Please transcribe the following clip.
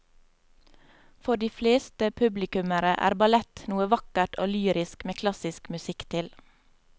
For de fleste publikummere er ballett noe vakkert og lyrisk med klassisk musikk til.